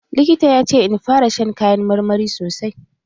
Likita ya ce in fara shan kayan marmari sosai.